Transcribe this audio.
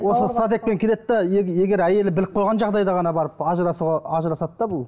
осы стратегпен келеді де егер әйелі біліп қойған жағдайда ғана барып ажырасуға ажырасады да бұл